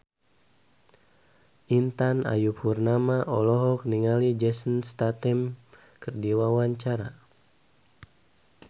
Intan Ayu Purnama olohok ningali Jason Statham keur diwawancara